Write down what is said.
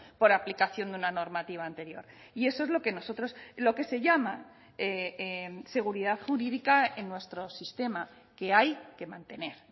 por aplicación de una normativa anterior y eso es lo que nosotros lo que se llama seguridad jurídica en nuestro sistema que hay que mantener